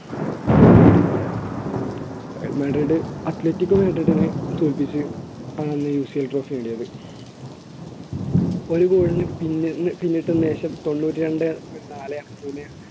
നേടി Real Madrid athletic മാട്രിലിനെ തോൽപ്പിച്ച് ആണ് അന്ന് UCLtrophy നേടിയത് ഒരു goal ന് പിന്ന് പിന്നിട്ടതിനുശേഷം തൊണ്ണൂറ്റി രണ്ട point നാല്